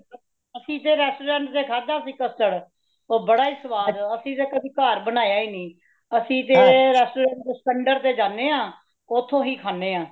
ਅਸੀ ਤੇ restaurant ਤੇ ਖਾਧਾ ਸੀ custard, ਉਹ ਬੜਾ ਹੀ ਸਵਾਦ ਅਸੀ ਤੇ ਕਦੀ ਘਰ ਬਨਾਯਾ ਹੀ ਨਹੀਂ , ਅਸੀ ਤੇ restaurant ਸਿਕੰਦਰ ਤੇ ਜਾਂਦੇ ਹਾਂ , ਓਥੋਂ ਹੀ ਖਾਂਦੇ ਹਾਂ।